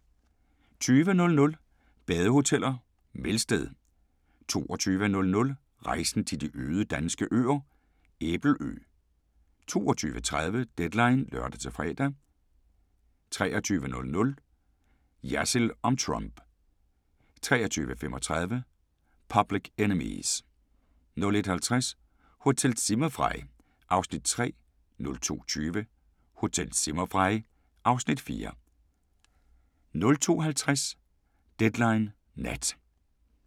19:30: The Trip to Italy (3:6)* 20:00: Badehoteller - Melsted 22:00: Rejsen til de øde danske øer – Æbelø 22:30: Deadline (lør-fre) 23:00: Jersild om Trump 23:35: Public Enemies 01:50: Hotel Zimmerfrei (Afs. 3) 02:20: Hotel Zimmerfrei (Afs. 4) 02:50: Deadline Nat